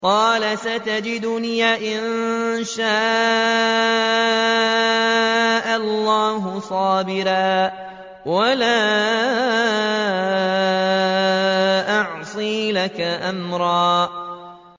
قَالَ سَتَجِدُنِي إِن شَاءَ اللَّهُ صَابِرًا وَلَا أَعْصِي لَكَ أَمْرًا